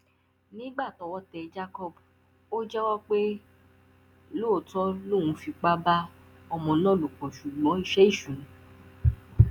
ẹgbẹ wa bọwọ fún wákàtí àìṣiṣẹ ó ràn gbogbo wọn lụwọ láti ṣe ìwọntúnwọnsì láàárín iṣẹ àti ìgbéayé